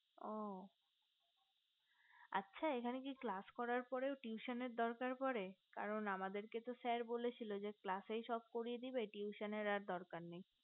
ও আচ্ছা এখানে কি class করার পরও কি tuition এর দরকার পরে কারণ আমাদের কে তো sir বলেছিলো যে class সব করিয়ে দিবে tuition এর আর করার দরকার নেই